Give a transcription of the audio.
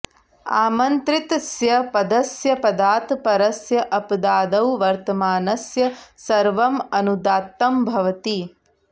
आमन्त्रितस्य पदस्य पदात् परस्य अपदादौ वर्तमानस्य सर्वम् अनुदात्तं भवति